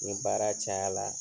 Ni baara cayala